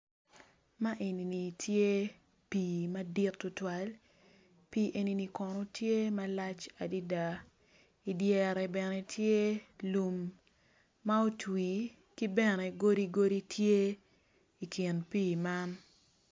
Ma enini tye pi madit tutwal pie enini kono tye malac adaaa i dyere bene tye lum ma otwi ki bene godi godi tye i kin pi man.